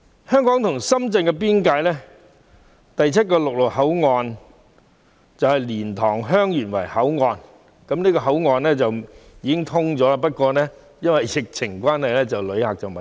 香港與深圳邊境的第七個陸路口岸是蓮塘/香園圍口岸，此口岸已通關，只因爆發疫情而未有旅客使用。